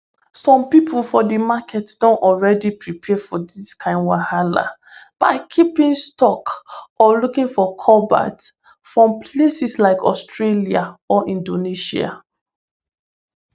some pipo for di market don already prepare for dis kain wahala by keeping stock or looking for cobalt from places like australia or inAcceptedsia